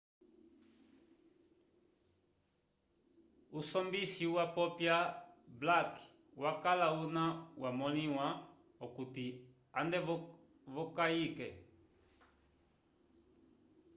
usombisi wapopya blake wakala una wamõliwa okuti ande v'okayike